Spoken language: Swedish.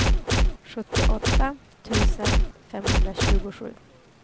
sjuttioåtta tusen femhundratjugosju